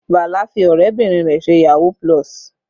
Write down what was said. Bala fi ọ̀rẹ́bìnrin rẹ̀ ṣe yahoo+.